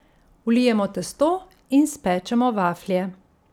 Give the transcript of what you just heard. Vlijemo testo in spečemo vaflje.